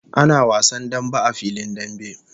Ana wasan dambe a filin dambe